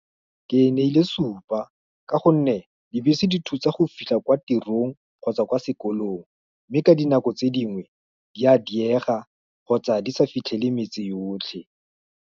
Ke ne ile supa, ka gonne dibese dithutsa go fitlha kwa tirong, kgotsa kwa sekolong, mme ka dinako tse dingwe, di a diega, kgotsa di sa fitlhele metse yotlhe.